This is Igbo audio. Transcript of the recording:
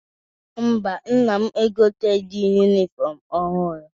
Mba, nna m egoteghi yunifọmụ ọhụrụ.